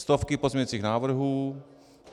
Stovky pozměňujících návrhů.